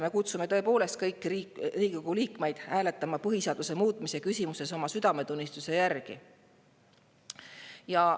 Me kutsume kõiki Riigikogu liikmeid hääletama põhiseaduse muutmise küsimuses oma südametunnistuse järgi.